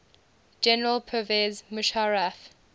general pervez musharraf